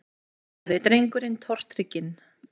sagði drengurinn tortrygginn.